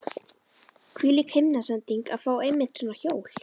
Hvílík himnasending að fá einmitt svona hjól!